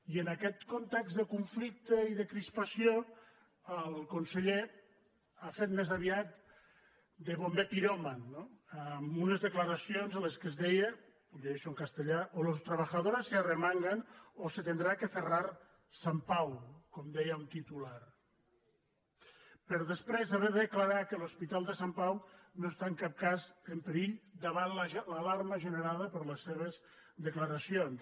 i en aquest context de conflicte i de crispació el con·seller ha fet més aviat de bomber piròman no amb unes declaracions en les quals es deia ho llegeixo en castellà o los trabajadores se arremangan o se ten·drá que cerrar sant pau com deia un titular per des·prés haver de declarar que l’hospital de sant pau no està en cap cas en perill davant l’alarma generada per les seves declaracions